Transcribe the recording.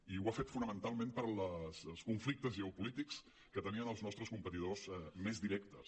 i ho ha fet fonamentalment pels conflictes geopolítics que tenien els nostres competidors més directes